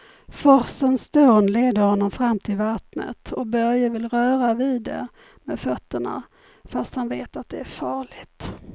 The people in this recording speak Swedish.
Forsens dån leder honom fram till vattnet och Börje vill röra vid det med fötterna, fast han vet att det är farligt.